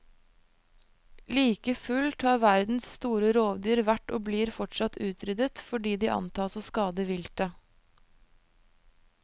Like fullt har verdens store rovdyr vært og blir fortsatt utryddet fordi de antas å skade viltet.